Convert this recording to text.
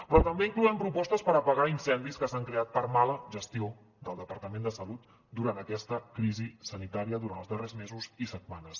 però també hi incloem propostes per apagar incendis que s’han creat per mala gestió del departament de salut durant aquesta crisi sanitària durant els darrers mesos i setmanes